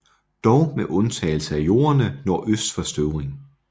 Dog med undtagelse af jorderne nordøst for Støvring